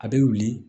A bɛ wili